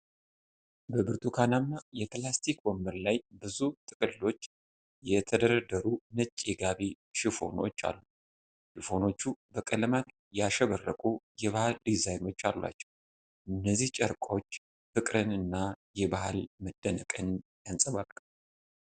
በብርቱካናማ ፕላስቲክ ወንበር ላይ ብዙ ጥቅልሎች የተደረደሩ ነጭ የጋቢ ሽፎኖች አሉ። ሽፎኖቹ በቀለማት ያሸበረቁ የባህል ዲዛይኖች አሏቸው። እነዚህ ጨርቆች ፍቅርን እና የባህል መደነቅን ያንጸባርቃሉ።